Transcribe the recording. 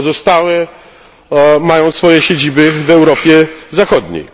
pozostałe mają swoje siedziby w Europie Zachodniej.